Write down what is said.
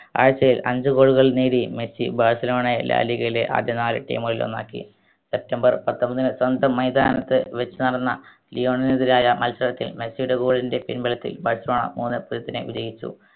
ആഴ്ചയിൽ അഞ്ചു goal കൾ നേടി മെസ്സി ബാഴ്‌സലോണയിൽ ലാലിഗയിലെ ആദ്യ നാല് team കളിൽ ഒന്നാക്കി സെപ്റ്റംബർ പത്തൊമ്പതിന് സ്വന്തം മൈതാനത്ത് വെച്ച് നടന്ന ലിയോണൽനെതിരായ മത്സരത്തിൽ മെസ്സിയുടെ goal ൻറെ പിൻബലത്തിൽ ബാഴ്‌സലോണ മൂന്ന് പൂജ്യത്തിന് വിജയിച്ചു